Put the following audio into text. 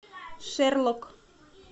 шерлок